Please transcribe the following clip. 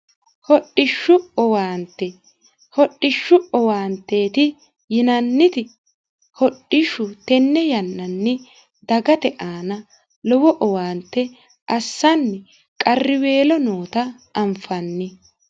hodhishshu owaanteeti yinanniti hodhishshu tenne yannanni dagate aana lowo owaante assanni qarriweelo noota anfanni